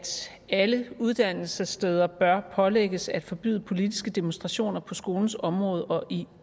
at alle uddannelsessteder bør pålægges at forbyde politiske demonstrationer på skolens område og i